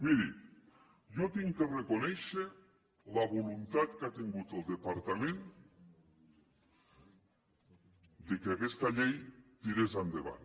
miri jo he de reconèixer la voluntat que ha tingut el departament perquè aquesta llei tirés endavant